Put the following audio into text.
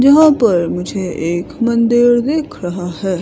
जहां पर मुझे एक मंदिर दिख रहा हैं।